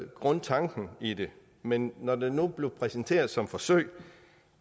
grundtanken i det men når det nu blev præsenteret som et forsøg